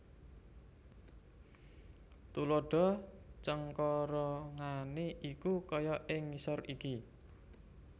Tuladha cengkorongane iku kaya ing ngisor iki